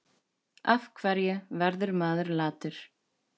Af hverju verður maður latur?